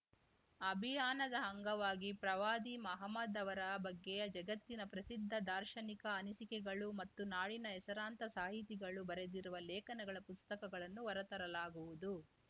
ಅಭಿಯಾನದ ಅಂಗವಾಗಿ ಪ್ರವಾದಿ ಮಹಮದ್‌ ಅವರ ಬಗ್ಗೆ ಜಗತ್ತಿನ ಪ್ರಸಿದ್ಧ ದಾರ್ಶನಿಕ ಅನಿಸಿಕೆಗಳು ಮತ್ತು ನಾಡಿನ ಹೆಸರಾಂತ ಸಾಹಿತಿಗಳು ಬರೆದಿರುವ ಲೇಖನಗಳ ಪುಸ್ತಕಗಳನ್ನು ಹೊರತರಲಾಗುವುದು